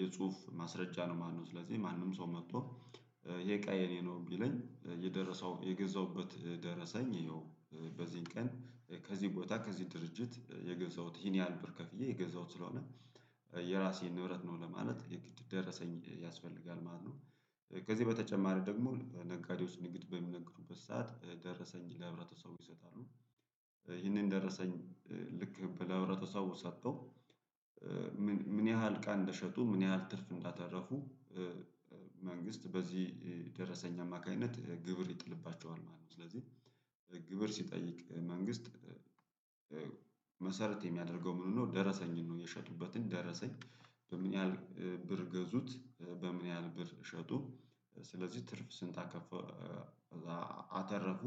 የጽሁፍ ማስረጃ ነው። ማነው ስለዚህ ማንም ሰው መጥቶ ይሄ እቃ የኔ ነው ቢለኝ የደረሰው የገዛሁበት ደረሰኝ ይኸው በዚህን ቀን ከዚህን ቦታ ከዚህን ድርጅት የገዛሁት ይሂን ብር ከፍዬ የገዛሁት ስለሆነ የራሴን ንብረት ነው ለማለት የግድ ደረሰኝ ያስፈልጋል ማለት ነው። ከዚህ በተጨማሪ ደግሞ በነጋዴው ንግድ በሚነግዱበት ሰዓት ደረሰኝ ለህብረተሰቡ ይሰጣሉ። ይህንን ደረሰኝ ልክ ለውብረተሰቡ ሰጥተው ምን ያህል እቃ እንደሸጡ ምን ያህል ትርፍ እንዳተረፉ። መንግስት በዚህ ደረሰኝ አማካኝነት ግብር ይጥልባቸዋል ማለት ነው። ስለዚህ ግብር ሲጠይቅ መንግስት መሰረት የሚያደርገው ምኑን ነው ደረሰኝን ነው? የሸጡበትን ደረሰኝ በምን ያህል ብር ገዙት በምን ያህል ብር ሸጡ ስለዚህ ትርፍ ስንት አከፋ አተረፉ።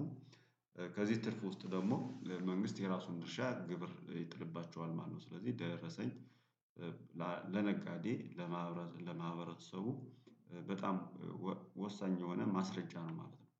ከዚህ ትርፍ ውስጥ ደግሞ መንግስት የራሱን ድርሻ ግብር ይጥልባቸዋል ማለት ነው። ስለዚህ ደረሰኝ ለነጋዴ ለማህበረሰቡ በጣም ወሳኝ የሆነ ማስረጃ ነው ማለት ነው